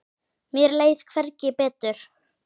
Mér leið hvergi betur.